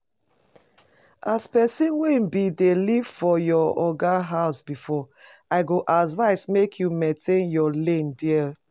As person wey bin dey live for your oga house before I go advise make you maintain your lane there